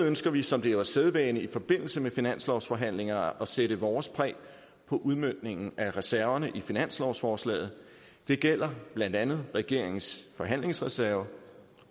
ønsker vi som det jo er sædvane i forbindelse med finanslovsforhandlinger at sætte vores præg på udmøntningen af reserverne i finanslovsforslaget det gælder blandt andet regeringens forhandlingsreserve